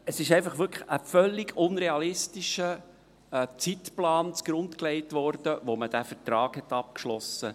Es wurde wirklich ein völlig unrealistischer Zeitplan zugrunde gelegt, als man diesen Vertrag abschloss.